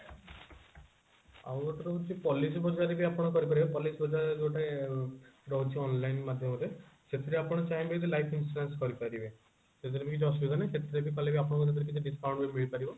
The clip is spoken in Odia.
ଆଉ ଗୋଟେ ରହୁଛି policy ବଜାର ରେ ବି ଆପଣ କରିପାରିବେ policy ବଜାର ଗୋଟେ ରହୁଛି online ମାଧ୍ୟମରେ ସେଥିରେ ଆପଣ ଚାହିଁବେ ଯଦି life insurance କରିପାରିବେ ସେଥିରେ କିଛି ଅସୁବିଧା ନହିଁ ସେଥିରେ ବି କଲେ ଆପଣଙ୍କୁ discount ମିଳିପାରିବ